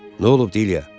Nə olub, Dilyə?